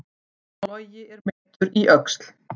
Logi er meiddur í öxl